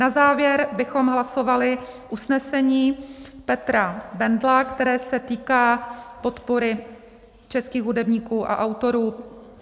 Na závěr bychom hlasovali usnesení Petra Bendla, které se týká podpory českých hudebníků a autorů.